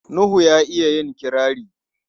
Nuhu ya iya yin kirari.